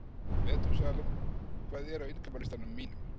Metúsalem, hvað er á innkaupalistanum mínum?